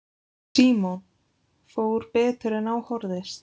Símon: Fór betur en á horfðist?